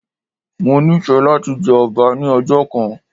Mo nífẹ̀ẹ́ láti jẹ ọba ní ọjọ́ kan